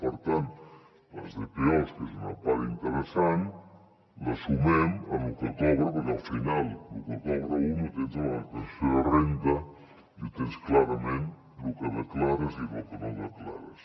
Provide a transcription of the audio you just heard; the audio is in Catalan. per tant les dpos que és una part interessant la sumem al que cobra perquè al final lo que cobra un ho tens a la declaració de renda i ho tens clarament lo que declares i lo que no declares